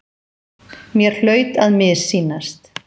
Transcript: Mér hlaut að missýnast.